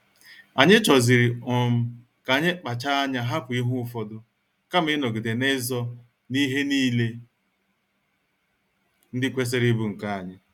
Anyi choziri um ka anyị kpacha anya hapụ ihe ụfọdụ kama ịnọgide n'izo na ihe niile ndị kwesịrị ịbụ nke anyị